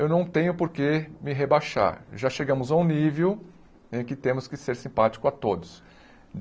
Eu não tenho por que me rebaixar, já chegamos a um nível em que temos que ser simpático a todos.